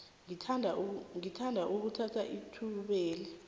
ngithanda ukuthatha ithubeli